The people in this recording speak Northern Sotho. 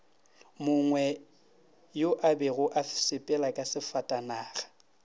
mongweyo abego a sepelaka sefatanagao